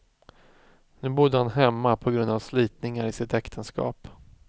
Nu bodde han hemma på grund av slitningar i sitt äktenskap.